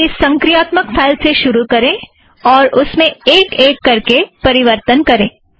किसी संक्रियात्मक फ़ाइल से शुरु करें और उसमें एक एक करके परिवर्तन करें